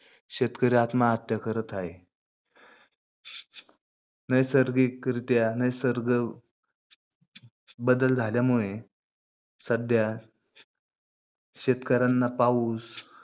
शेतकरी आत्महत्या करत आहे. नैसर्गिकरित्या नैसर्गिक बदल झाल्यामुळे सध्या शेतकऱ्यांना पाउस